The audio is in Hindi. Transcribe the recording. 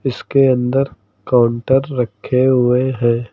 इसके अंदर काउंटर रखे हुए हैं।